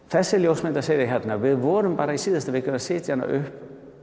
þessi ljósmyndasería hérna við vorum bara í síðustu viku að setja hana upp